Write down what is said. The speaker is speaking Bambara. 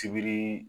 Sibiri